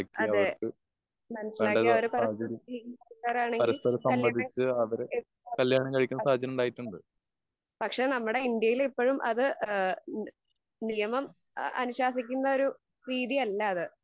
അതെ മനസിലാക്കിയ ആൾകാരാണെങ്കി പക്ഷെ നമ്മടെ ഇന്ത്യയിൽ എപ്പഴും അത് ഏഹ് മുഴുവം ആ അനുശാസിക്കുന്നൊരു രീതിയല്ല അത്